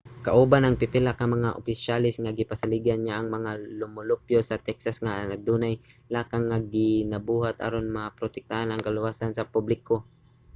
kauban ang pipila ka mga opisyales gipasaligan niya ang mga lumulupyo sa texas nga adunay mga lakang nga ginabuhat aron maprotektahan ang kaluwasan sa publiko